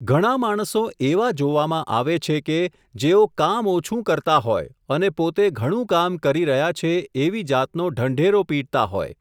ઘણા માણસો એવા જોવામાં આવે છે કે, જેઓ કામ ઓછું કરતા હોય, અને પોતે ઘણું કામ કરી રહ્યા છે, એવી જાતનો ઢંઢેરો પીટતા હોય.